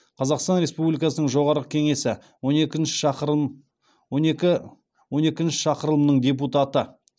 қазақстан республикасының жоғарғы кеңесі он екінші шақырылымның депутаты